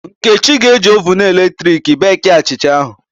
Nkechi ga-eji oven eletrik beekie achịcha ahụ